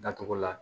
Datugulan